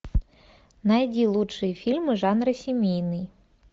найди лучшие фильмы жанра семейный